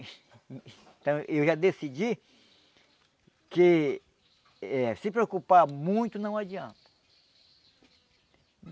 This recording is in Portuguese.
Então eu já decidi que eh se preocupar muito não adianta.